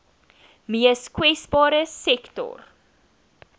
mees kwesbare sektore